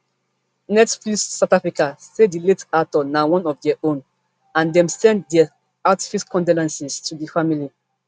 netflix south africa say di late actor na one of dia own and dem send dia heartfelt condolences to di family